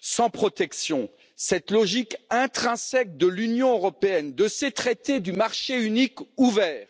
sans protection, à cette logique intrinsèque de l'Union européenne, avec ses traités du marché unique ouvert.